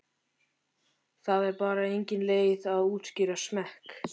Það er bara engin leið að útskýra smekk.